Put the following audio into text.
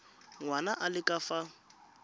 ngwana a le ka fa